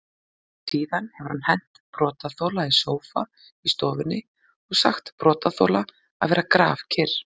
Síðan hafi hann hent brotaþola í sófa í stofunni og sagt brotaþola að vera grafkyrr.